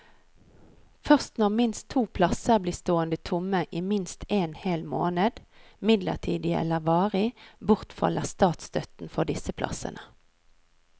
Først når minst to plasser blir stående tomme i minst en hel måned, midlertidig eller varig, bortfaller statsstøtten for disse plassene.